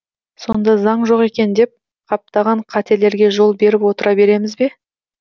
сонда заң жоқ екен деп қаптаған қателерге жол беріп отыра береміз бе